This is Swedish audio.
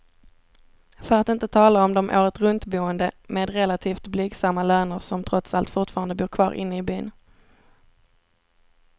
För att inte tala om de åretruntboende med relativt blygsamma löner, som trots allt fortfarande bor kvar inne i byn.